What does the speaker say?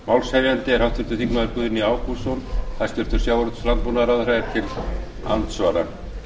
málshefjandi er háttvirtur þingmaður guðni ágústsson hæstvirtum sjávarútvegs og landbúnaðarráðherra verður til andsvara